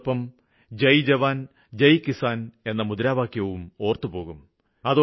ഇതോടൊപ്പം ജയ് ജവാന് ജയ് കിസാന് എന്ന അദ്ദേഹത്തിന്റെ മുദ്രാവാക്യവും ഓര്ത്തുപോകും